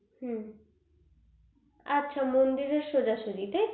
হু আচ্ছা মন্দিরের সোজাসোজি টাইতো